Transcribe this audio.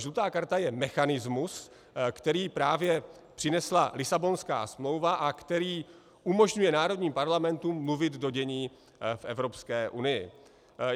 Žlutá karta je mechanismus, který právě přinesla Lisabonská smlouva a který umožňuje národním parlamentům mluvit do dění v Evropské unii.